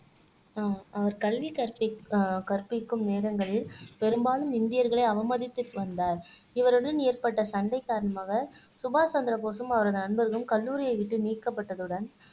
அஹ் அவர் கல்வி கற்பித்த கற்பிக்கும் நேரங்களில் பெரும்பாலும் இந்தியர்களை அவமதித்துக் கண்டார் இவருடன் ஏற்பட்ட சண்டை காரணமாக சுபாஷ் சந்திரபோஸும் அவரது நண்பர்களும் கல்லூரியை விட்டு நீக்கப்பட்டதுடன்